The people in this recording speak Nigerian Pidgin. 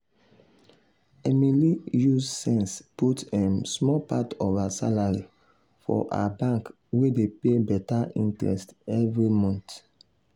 emily use sense put um small part of her salary for her bank wey dey pay better interest every month.